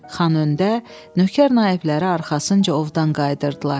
Xan öndə, nökər naibləri arxasınca ovdan qayıdırdılar.